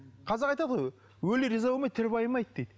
қазақ айтады ғой өлі риза болмай тірі байымайды дейді